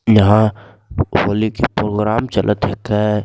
यहाँ होली की प्रोग्राम चलत हकै।